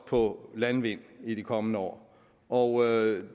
på landvind i de kommende år og